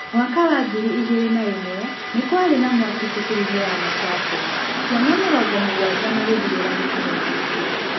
Mwaka wa ngiri igeerĩ na ĩmwe nĩ kwarĩ na mwaki cukuru-inĩ ya Machakos. Ciana mĩrongo mũgwanja magĩthirĩra mũtino-inĩ ũcio.